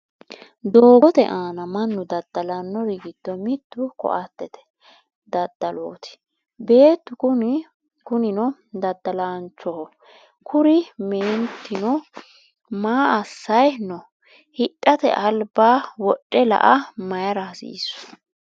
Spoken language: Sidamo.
Doogote aana mannu dada'lannor giddo mittu koattete daddaloti. Beettu kunino dadalanchoho. kuri meentino maa asay no? Hidhate alba wodhe la"a mayira hasiissu?